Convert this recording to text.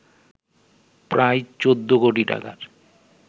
প্রায় ১৪ কোটি টাকার